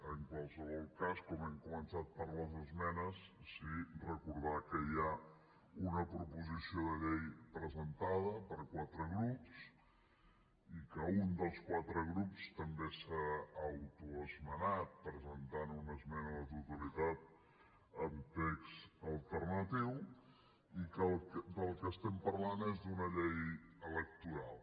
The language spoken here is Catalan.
en qualsevol cas com hem començat per les esmenes sí recordar que hi ha una proposició de llei presentada per quatre grups i que un dels quatre grups també s’ha autoesmenat presentant una esmena a la totalitat amb text alternatiu i que del que estem parlant és d’una llei electoral